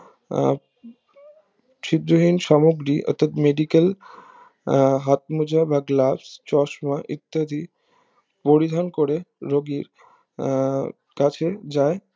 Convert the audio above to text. আহ শীঘ্রহীন সামগ্রী অর্থাৎ medical আহ হাতমোজা বা গ্লাপ্স চশমা বা ইত্যাদি পরিধান করে রুগীর আহ কাছে যায়